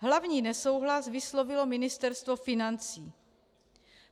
Hlavní nesouhlas vyslovilo Ministerstvo financí.